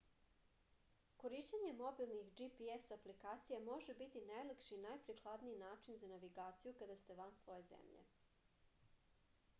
korišćenje mobilnih gps aplikacija može biti najlakši i najprikladniji način za navigaciju kada ste van svoje zemlje